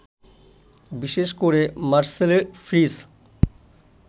বিশেষ করে মারসেলের ফ্রিজ